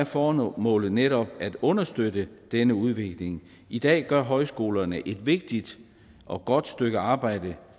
formålet netop at understøtte denne udvikling i dag gør højskolerne et vigtigt og godt stykke arbejde